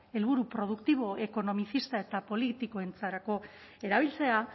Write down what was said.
helburu produktibo ekonomizista eta politikoetarako erabiltzea